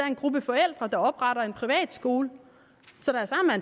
en gruppe forældre der opretter en privatskole